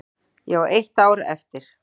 Ég á eitt ár eftir.